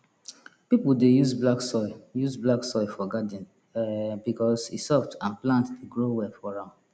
people dey use black soil use black soil for garden um because e soft and plant dey grow well for am